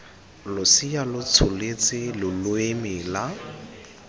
losea lo tsholetse loleme lwa